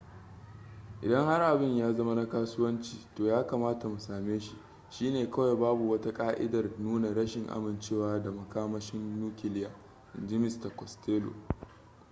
idan har abin ya zama na kasuwanci to ya kamata mu same shi shi ne kawai babu wata ka'idar nuna rashin amincewa da makamashin nukiliya inji mista costello